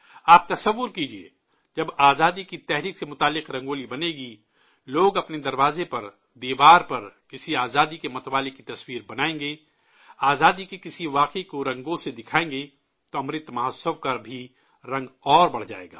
آپ تصور کیجئے، جب آزادی کی تحریک سے جڑی رنگولی بنے گی، لوگ اپنے دروازے پر، دیوار پر، کسی آزادی کے متوالے کی تصویر بنائیں گے، آزادی کے کسی واقعہ کو رنگوں سے دکھائیں گے، تو امرت مہوتسو کا بھی رنگ اور بڑھ جائے گا